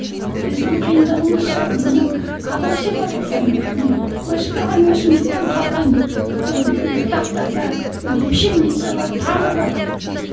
біздің қиындығымыз сол мынау колосья бар ғой кәдімгі не өсіп тұрған өсімдіктен қалған ыыы бұтақтарда пшеница бар тары бар